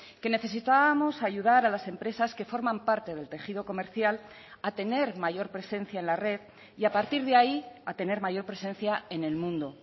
que necesitábamos ayudar a las empresas que forman parte del tejido comercial a tener mayor presencia en la red y a partir de ahí a tener mayor presencia en el mundo